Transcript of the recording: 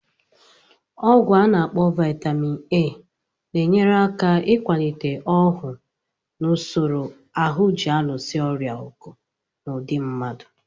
Ọgwụ. ana akpo Vaitamin A, na-enyere aka ịkwalite ọhụụ na usoro ahụ ji alụso ọrịa ọgụ na ụdi mmadụ